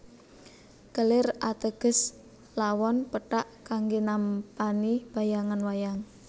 Kelir ateges lawon pethak kanggé nampani bayangan wayang